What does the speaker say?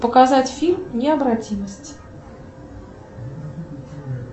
показать фильм необратимость